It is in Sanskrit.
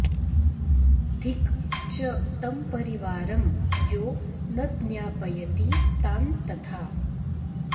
धिक् च तं परिवारं यो न ज्ञापयति तान् तथा